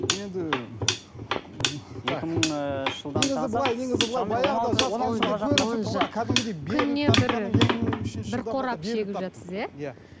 мен енді так екі мың бір қорап шегіп жатырсыз иә иә